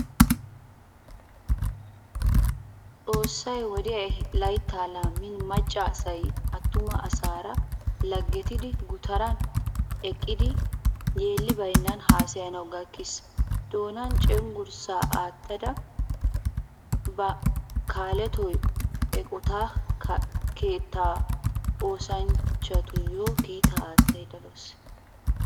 Xoossay wodiyanne laytta laammin macca asay attuma asaara laggettidi gutaran eqqidi yeelli baynan haasayanwu gakkiis. Doonan cenggurssa aattada ba kaalettiyo eqqotta keettaa oosanchchatuyo kiita attayda deawusu.